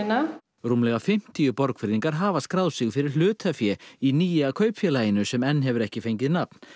rúmlega fimmtíu Borgfirðingar hafa skráð sig fyrir hlutafé í nýja kaupfélaginu sem enn hefur ekki fengið nafn